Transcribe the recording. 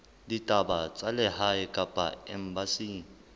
ditaba tsa lehae kapa embasing